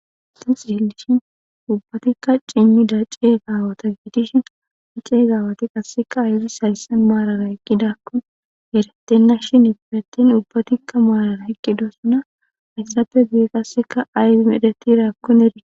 Six dillishin ubbatikka cimmida ceezaawata giidishin ceezaawati qasseka aygis hayssan maalara eqqidakko eretenna shin ifidattin ubbatikka maalara eqqido suna hayssape buye qasseka aymedetirakkon erie.